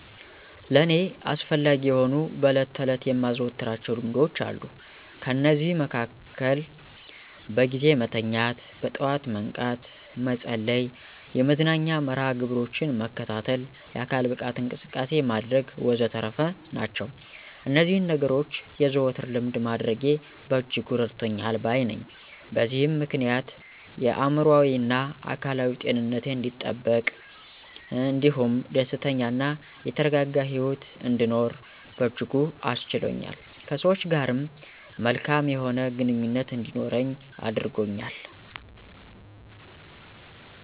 ለእኔ አስፈላጊ የሆኑ በዕለት ተዕለት የማዘወትራቸው ልማዶች አሉ። ከነዚህም መሀከል በጊዜ መተኛት፣ በጠዋት መንቃት፣ መጸለይ፣ የመዝናኛ መርሀ ግብሮችን መከታተል፣ የአካል ብቃት እንቅስቃሴ ማድረግ ወዘተረፈ ናቸው። እነዚህን ነገኖች የዘወትር ልምድ ማድረጌ በእጅጉ እረድቶኛል ባይ ነኘ። በዚህም ምክንያት የአእምሮአዊና አካላዊ ጤንነቴ አንዲጠበቅ እንዲሁም ደስተኛ እና የተረጋጋ ሂወት እንድኖር በእጅጉ አስችሎኛል። ከሰወች ጋርም መልካም የሆነ ግንኙነት እንዲኖረኝ አድርጎኛል።